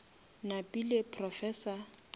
napile professor